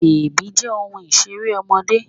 Bèbí jẹ́ ohun Ìṣeré ọmọdé